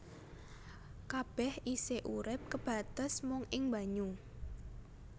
Kabèh isih urip kebates mung ing banyu